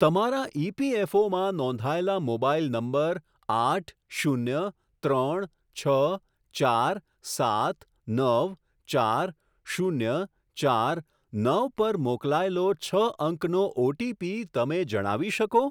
તમારા ઇપીએફઓમાં નોંધાયેલા મોબાઇલ નંબર આઠ શૂન્ય ત્રણ છ ચાર સાત નવ ચાર શૂન્ય ચાર નવ પર મોકલાયેલો છ અંકનો ઓટીપી તમે જણાવી શકો?